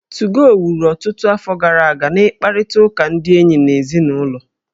2go wuru ọtụtụ afọ gara aga n'ịkparịta ụka na ndị enyi na ezinụlọ